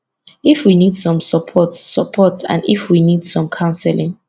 if we need some support support and if we need some counselling